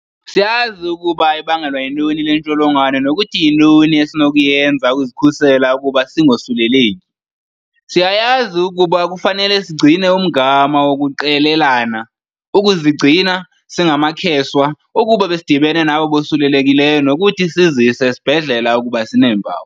Siyazi ukuba ibangelwa yintoni le ntsholongwane nokuthi yintoni esinokuyenza ukuzikhusela ukuba singosuleleki. Siyayazi ukuba kufanele sigcine umgama wokuqelelana, ukuzigcina singamakheswa ukuba besidibene nabo bosulelekileyo nokuthi sizise esibhedlela ukuba sineempawu.